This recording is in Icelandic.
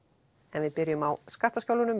en við byrjum á skattaskjólunum